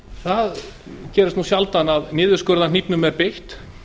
það gerist nú sjaldan að niðurskurðarhnífnum sé beitt